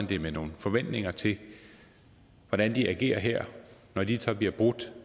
det med nogle forventninger til hvordan de agerer her når de så bliver brudt